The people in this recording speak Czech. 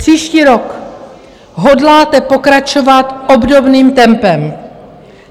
Příští rok hodláte pokračovat obdobným tempem.